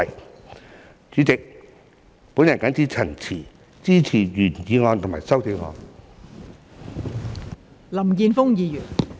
代理主席，我謹此陳辭，支持原議案及修正案。